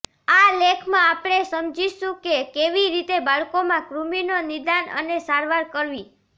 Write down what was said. આ લેખમાં આપણે સમજીશું કે કેવી રીતે બાળકોમાં કૃમિનો નિદાન અને સારવાર કરવી